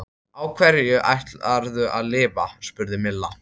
Á hverju ætlarðu að lifa? spurði Milla.